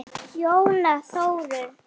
Jóna Þórunn.